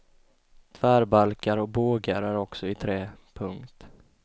Tvärbalkar och bågar är också i trä. punkt